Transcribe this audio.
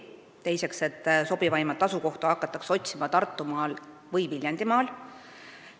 Teiseks, et sobivaimat asukohta hakatakse otsima Tartumaalt või Viljandimaalt.